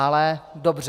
Ale dobře.